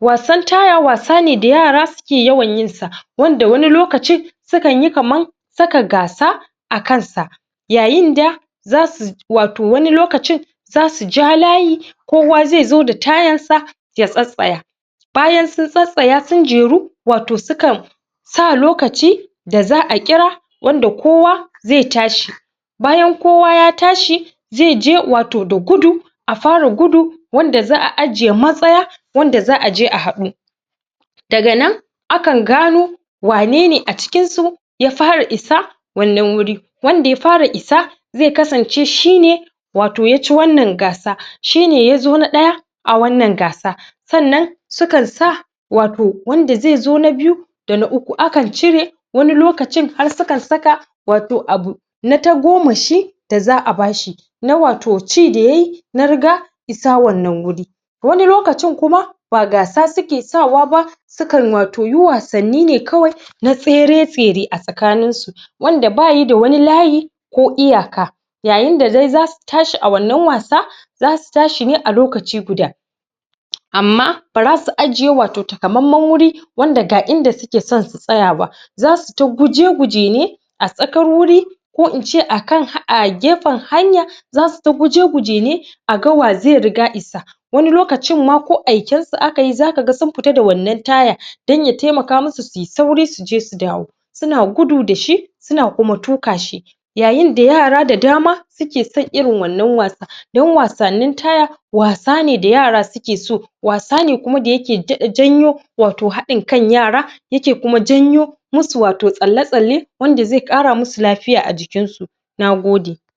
wasan taya wasa ne da yara suke yawan yin sa wanda wani lokacin su kan yi kamar saka gasa a kan sa yayin da zasu wato wani lokacin zasu ja layi kowa zaizo da tayar sa ya tsatstsaya bayan sun tsatstsaya sun jeru, wato sukan sa lokaci da za'a kira wanda kowa zai tashi bayan kowa ya tashi zai je wato da gudu a fara gudu wanda za'a ajjiye matsaya wanda za'aje a haɗu daga nan akan gano wane ne a cikin su ya fara isa wannan wuri wanda ya fara isa zai kasance shine wato yaci wannan gasa, shine yazo na ɗaya a wannan gasa sannan sukan sa wato wanda zai zo na biyu da uku, akan cire wani lokacin har su kan saka wato abu na tagomashi da za'a bashi na wato ci da yayi, na riga isa wannan wuri wami lokacin kuma ba gasa suke sawa ba sukan wato yi wasanni ne kawai na tsere-tsere a tsakanin su wanda bayi da wani layi ko iyaka yayin da dai zasu tashi a wannan wasa zasu tashi ne a lokaci guda amma bara su ajjiye wato takamamman wuri wanda ga inda suka son su tsaya ba zasu ta guje-guje ne a tsakar wuri ko in ce a kan a gefen hanya zasu ta guje-guje ne a ga wa zai riga isa wani lokacin ma ko aikan su akai, za kaga sun fita da wannan taya dan ya taimaka musu suyi sauri suje su dawo suna gudu dashi, suna kuma tuƙa shi yayin da yara da dama suke son irin wannan wasa don wasannin taya, wasa ne da yara suke so, wasa kuma da yake daɗa janyo wato haɗin kan yara yake kuma janyo musu wato tsalle-tsalle wanda zai ƙara musu lafiya a jikin sa. Nagode.